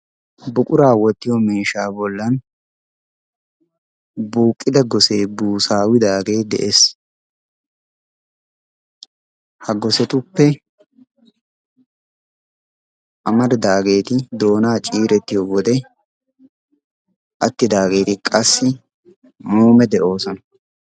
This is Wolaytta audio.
Buquraa wottiyo miishaa bollan buuqqida gosee busaawidaagee de'ees. ha gosetuppe amaridaageeti doonaa ciirettiyo wode attidaageeti qassi muume de'oosona.